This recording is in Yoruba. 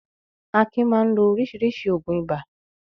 Akin máa ń lo oríṣiríṣi òògùn ibà.